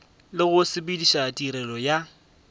le go sepediša tirelo ya